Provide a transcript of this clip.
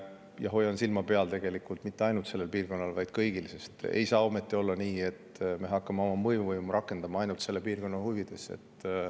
Ma hoian silma peal tegelikult mitte ainult sellel piirkonnal, vaid kõigil, sest ei saa ometi olla nii, et me hakkame oma mõjuvõimu rakendama ainult piirkonna huvides.